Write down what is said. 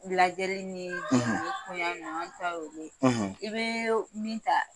Lajɛli ni koɲɛ ninnu an ta ye olu ye i bɛ min ta.